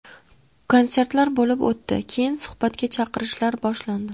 Konsertlar bo‘lib o‘tdi, keyin suhbatga chaqirishlar boshlandi.